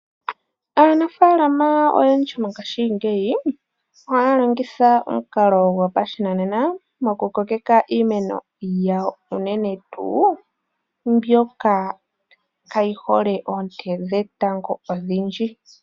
Aanafalama oyendji mongashingeyi ohaya longitha omukalo gopashinanena mokukokeka iimeno yawo, unene tuu mbyoka kayi hole oonte dhetango odhindji.